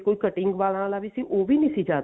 ਕੋਈ cutting ਵਾਲਾਂ ਵੀ ਉਹ ਵੀ ਨਹੀ ਸੀ ਜਾ